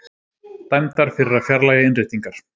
Dæmdar fyrir að fjarlægja innréttingar